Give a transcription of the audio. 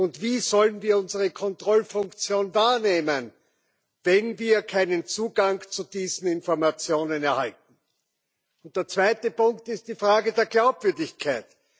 Und wie sollen wir unsere Kontrollfunktion wahrnehmen, wenn wir keinen Zugang zu diesen Informationen erhalten? Der zweite Punkt ist die Frage der Glaubwürdigkeit.